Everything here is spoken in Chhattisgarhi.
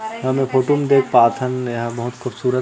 हम ये फोटो में देख पाथन एहा बहुत खूबसूरत--